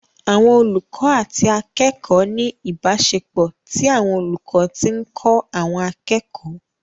Àwọn olùkọ́ àti akẹ́kọ̀ọ́ ní ìbáṣepọ̀ tí àwọn olùkọ́ ti ń kọ́ àwọn akẹ́kọ̀ọ́